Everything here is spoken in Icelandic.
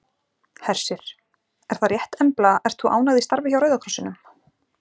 Hersir: Er það rétt Embla ert þú ánægð í starfi hjá Rauða krossinum?